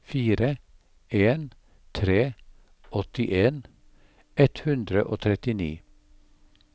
fire en en tre åttien ett hundre og trettini